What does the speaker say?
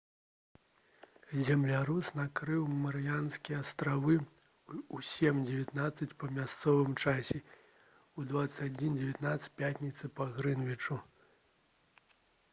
землятрус накрыў марыянскія астравы ў 07:19 па мясцовым часе у 21:19 пятніцы па грынвічы